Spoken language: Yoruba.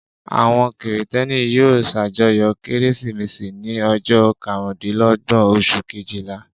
Àwọn Kìrìtẹ́ẹ́nì yóò ṣàjọyọ̀ Kérésìmesì ní ọjọ́ karùndínlọ́gbọ̀n oṣù kejìlá.